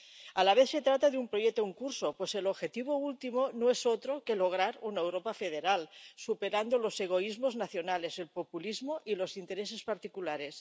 A la vez se trata de un proyecto en curso, pues el objetivo último no es otro que lograr una Europa federal, superando los egoísmos nacionales, el populismo y los intereses particulares.